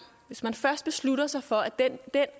hvis man først beslutter sig for at den